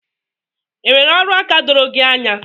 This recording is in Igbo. Enwere ọrụaka doro gị anya?